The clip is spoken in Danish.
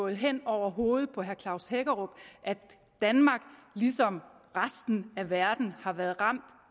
hen over hovedet på herre klaus hækkerup at danmark ligesom resten af verden har været ramt